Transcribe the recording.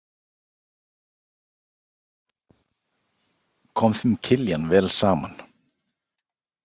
Kom þeim Kiljan vel saman?